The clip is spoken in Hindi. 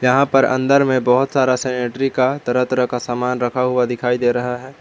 यहां पर अंदर में बहोत सारा सैनिटरी का तरह तरह का सामान रखा हुआ दिखाई दे रहा है।